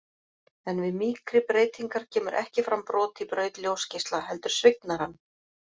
En við mýkri breytingar kemur ekki fram brot í braut ljósgeisla, heldur svignar hann.